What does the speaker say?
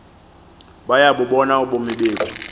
bayabubona ubomi bethu